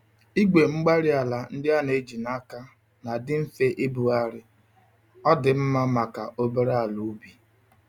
igwe-mgbárí-ala ndị a n'eji n'aka nadị mfe ibugharị, ọdị mma màkà obere àlà ubi.